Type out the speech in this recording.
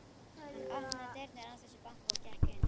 Hann opnaði dyrnar án þess að banka og gekk inn.